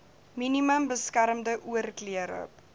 minimum beskermde oorklere